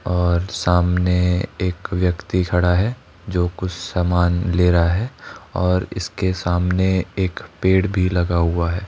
और सामने एक व्यक्ति खड़ा है जो कुछ सामान ले रहा है और इसके सामने एक पेड़ भी लगा हुआ है।